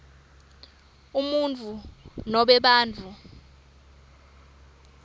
umuntfu nobe bantfu